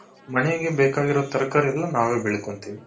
ಮನೆಗೆ ಬೇಕಾಗಿರೋ ತರಕಾರಿ ಎಲ್ಲಾ ನಾವೇ ಬೆಳಕೊಂತೀವಿ.